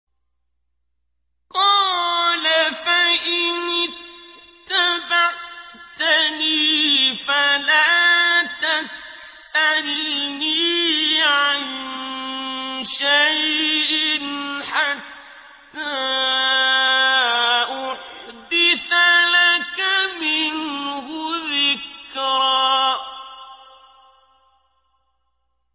قَالَ فَإِنِ اتَّبَعْتَنِي فَلَا تَسْأَلْنِي عَن شَيْءٍ حَتَّىٰ أُحْدِثَ لَكَ مِنْهُ ذِكْرًا